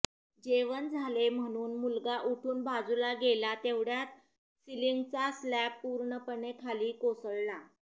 जेवण झाले म्हणून मुलगा उठून बाजूला गेला तेवढ्यात सिलिंगचा स्लॅब पूर्णपणे खाली कोसळला